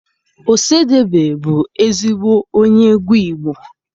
Ọsadebe bụ ezigbo onye egwu Igbo.